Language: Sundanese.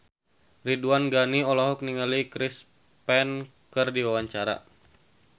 Ridwan Ghani olohok ningali Chris Pane keur diwawancara